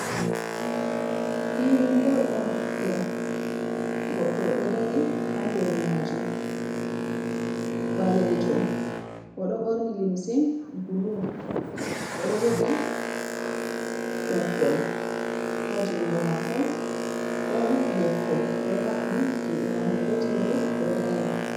Film bol on ɗo, goɗɗo ɗo dari ha nder majum ɓalejo o ɗo ɓorni limse bulu, oɗo jogi ɓoggol ha jungo mako, ɗon leppol ɗo haɓɓi juɗe mako gotel bo ɗo dari.